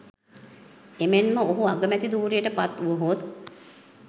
එමෙන්ම ඔහු අගමැති ධුරයට පත්වුවහොත්